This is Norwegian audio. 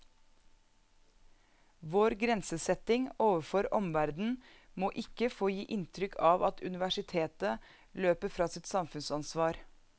Vår grensesetting overfor omverdenen må ikke få gi inntrykk av at universitetet løper fra sitt samfunnsansvar.